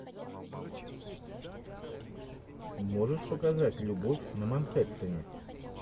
можешь показать любовь на манхэттене